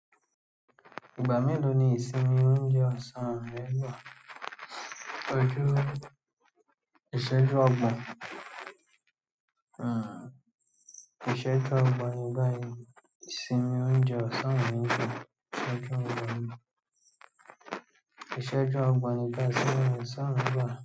Ìgbà mélòó ni ìsinmi oúnjẹ ọ̀sán ń rẹ rọ̀? Koju ìṣẹ́jú ọgbọ̀n. Ìṣẹ́jú ọgbọ̀n nígbà yìí. Ìsinmi oúnjẹ ọ̀sán ń bẹ ìṣẹ́jú ọgbọ̀n. Ìṣẹ́jú ọgbọ̀n nígbà ìsinmi ọ̀sán mi nbẹ.